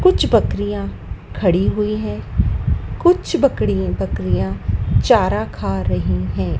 कुछ बकरियाँ खड़ी हुई है कुछ बकड़ी बकरियाँ चारा खा रही हैं।